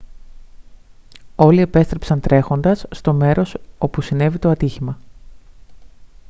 όλοι επέστρεψαν τρέχοντας στο μέρος όπου συνέβη το ατύχημα